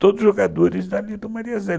Todos os jogadores dali do Maria Zélia